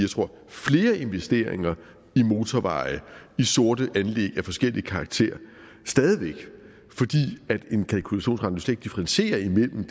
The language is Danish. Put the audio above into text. flere investeringer i motorveje i sorte anlæg af forskellig karakter fordi en kalkulationsrente slet ikke differentierer imellem